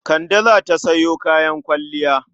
Kande za ta sayo kayan kwalliya.